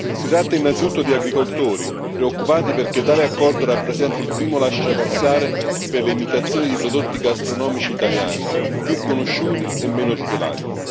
Si tratta innanzitutto di agricoltori, preoccupati perché tale accordo rappresenta il primo lasciapassare per le imitazioni di prodotti gastronomici italiani più conosciuti e meno tutelati.